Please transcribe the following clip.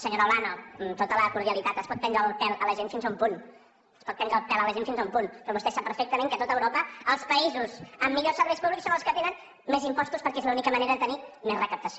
senyora olano amb tota la cordialitat es pot prendre el pèl a la gent fins a un punt es pot prendre el pèl a la gent fins a un punt però vostè sap perfectament que a tot europa els països amb millors serveis públics són els que tenen més impostos perquè és l’única manera de tenir més recaptació